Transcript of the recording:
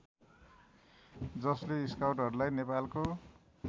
जसले स्काउटहरूलाई नेपालको